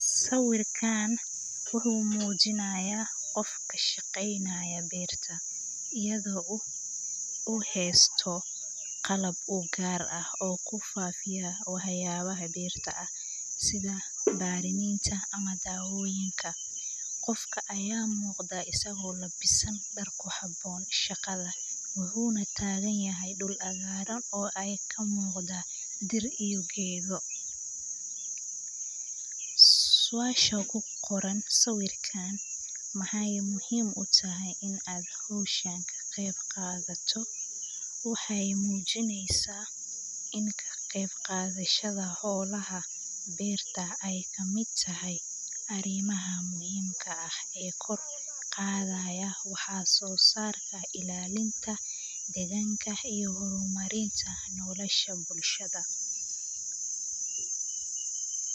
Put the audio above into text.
Sawirkan wuxu mujinaya qof ka shaqeynayo berta iyado u heysto qalab kufilan oo waybaha berta ah ,sidha bedinta, wuxuna taganyahay dhul abara kamuqda dir iyo gedo. Suasha ku qoran sawirkan maxey muhim u tahay in aad howshan ka qayb qaadato waxey mujineysa ini kaqeyb qadashada xolaha berta ay kamid tahay arimaha muhimka ah ee kor u qadaya waxa sosarka ilalinta deganka iyo horumarinta nolosha bulshada.